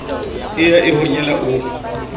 e ya e honyela o